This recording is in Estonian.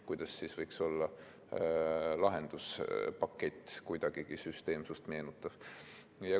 Kuidas siis võiks lahenduspakett kuidagigi süsteemsust meenutada?